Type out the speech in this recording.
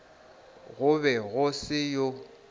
go be go se yoo